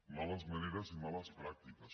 males maneres i males pràctiques